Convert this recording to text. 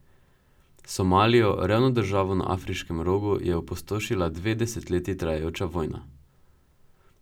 Somalijo, revno državo na Afriškem rogu, je opustošila dve desetletji trajajoča vojna.